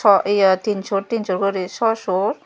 aw iya tinsur tinsur guri shaw sur.